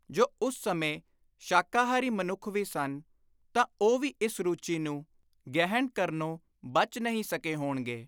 ਜੋ ਉਸ ਸਮੇਂ ਸ਼ਾਕਾਹਾਰੀ ਮਨੁੱਖ ਵੀ ਸਨ ਤਾਂ ਉਹ ਵੀ ਇਸ ਰੁਚੀ ਨੂੰ ਗ੍ਰਹਿਣ ਕਰਨੋਂ ਬਚ ਨਹੀਂ ਸਕੇ ਹੋਣਗੇ।